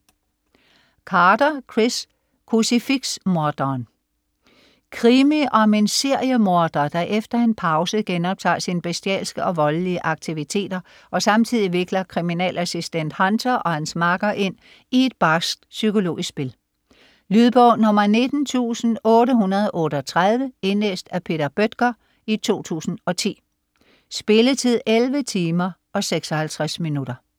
Carter, Chris: Krucifiks morderen Krimi om en seriemorder, der efter en pause genoptager sin bestialske og voldelige aktiviteter og samtidig vikler kriminalassistent Hunter og hans makker ind i et barskt psykologisk spil. Lydbog 19838 Indlæst af Peter Bøttger, 2010. Spilletid: 11 timer, 56 minutter.